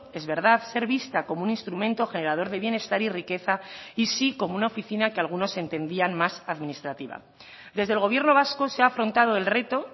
es verdad ser vista como un instrumento generador de bienestar y riqueza y sí como una oficina que algunos entendían más administrativa desde el gobierno vasco se ha afrontado el reto